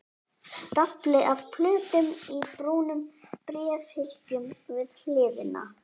Stafli af plötum í brúnum bréfhylkjum við hliðina.